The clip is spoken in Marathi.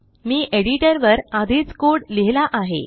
मी एडिटरवर आधीचcode लिहिला आहे